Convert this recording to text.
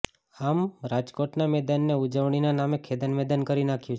આમ રાજકોટના મેદાનને ઉજવણીના નામે ખેદાન મેદાન કરી નાખ્યું છે